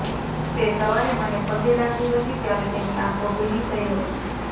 તે સવારે મને પગે લાગી હતી ત્યારે તેની આંખો ભીની થઈ હતી